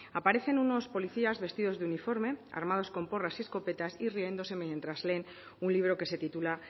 aparecen unos policías vestidos de uniforme armados con porras y escopetas y riéndose mientras leen un libro que se titula